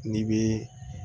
N'i bɛ